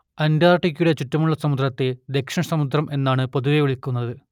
അന്റാർട്ടിക്കയുടെ ചുറ്റുമുള്ള സമുദ്രത്തെ ദക്ഷിണസമുദ്രം എന്നാണിന്ന് പൊതുവേ വിളിക്കുന്നത്